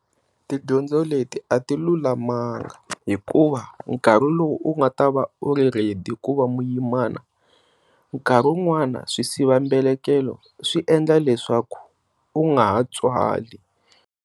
Tidyondzo leti a ti lulamanga hikuva nkarhi lowu u nga ta va u ri ready ku va muyimana, nkarhi wun'wani swisiva mbelekelo swi endla leswaku u nga ha tswali.